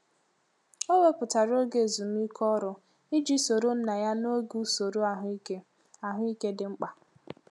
O wepụtara oge ezumike ọrụ iji soro nna ya n'oge usoro ahụike ahụike dị mkpa.